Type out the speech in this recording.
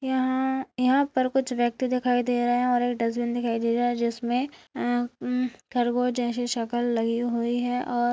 यहाँ-हाँ यहाँ पर कुछ व्यक्ति दिखाई दे रहे हैं और एक डस्टबिन दिखाई दे रहा है जिसमे अम-म-म खरगोश जैसी शकल लगी हुई है और --